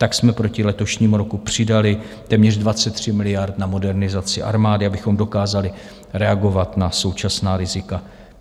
Tak jsme proti letošnímu roku přidali téměř 23 miliard na modernizaci armády, abychom dokázali reagovat na současná rizika.